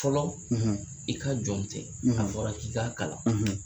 Fɔlɔ i ka jɔn tɛ a fɔra k'i k'a kalan